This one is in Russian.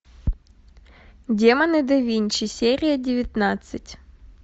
демоны да винчи серия девятнадцать